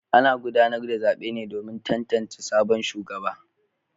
Ana gudanar da zaben ne domin tantance sabon shugaba.